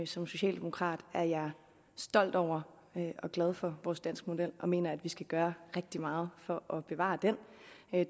som socialdemokrat er jeg stolt over og glad for vores danske model og mener at vi skal gøre rigtig meget for at bevare den